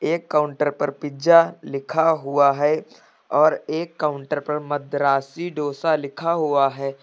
एक काउंटर पर पिज्जा लिखा हुआ है और एक काउंटर पर मद्रासी डोसा लिखा हुआ है।